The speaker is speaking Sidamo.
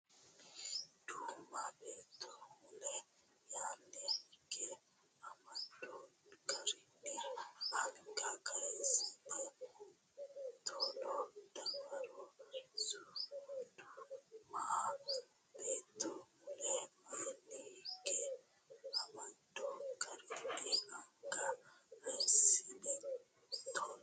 Du ma beetto mule yaanni higge amado garinni anga kayissine taalo dawaro ss u Du ma beetto mule yaanni higge amado garinni anga kayissine taalo.